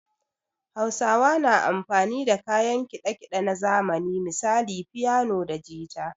Hausawa na amfani da kayan kiɗa kiɗe na zamani misali fiyano da jita